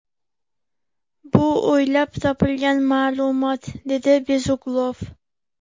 Bu o‘ylab topilgan ma’lumot”, – dedi Bezuglov.